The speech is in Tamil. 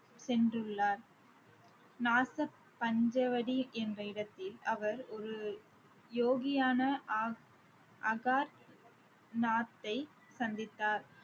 சென்றுள்ளார் நாச பஞ்சவடி என்ற இடத்தில் அவர் ஒரு யோகியான அகார் நாத்தை சந்தித்தார்